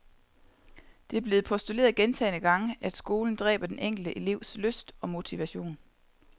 Det er blevet postuleret gentagne gange, at skolen dræber den enkelte elevs lyst og motivation.